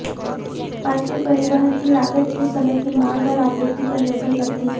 माल के परिवहन की लागत उस समय की मांग और आपूर्ति पर निर्भर करती है